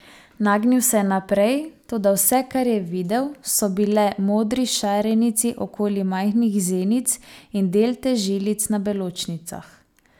Nagnil se je naprej, toda vse, kar je videl, so bile modri šarenici okoli majhnih zenic in delte žilic na beločnicah.